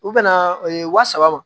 U bɛna wa saba ma